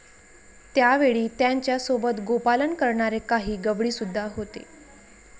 त्यावेळी त्यांच्या सोबत गोपालन करणारे काही गवळीसुद्धा होते.